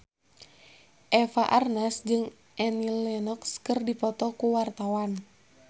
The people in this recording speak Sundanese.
Eva Arnaz jeung Annie Lenox keur dipoto ku wartawan